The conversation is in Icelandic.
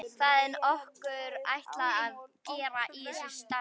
Hvað er okkur ætlað að gera í þessu starfi?